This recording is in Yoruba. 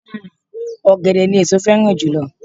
Ọ̀gẹ̀dẹ̀ ni èso féràn jùlo